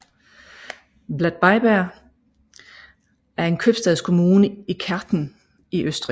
Bad Bleiberg er en købstadskommune i Kärnten i Østrig